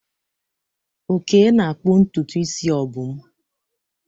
Oke na-akpụ ntutu isi Obum.